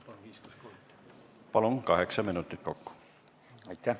Palun, kaheksa minutit kokku!